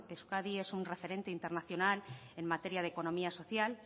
euskadi es un referente internacional en materia de economía social